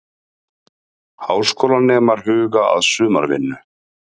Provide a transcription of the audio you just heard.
Háskólanemar huga að sumarvinnu